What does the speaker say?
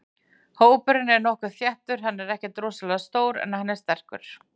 Hópurinn er nokkuð þéttur, hann er ekkert rosalega stór en hann er sterkur.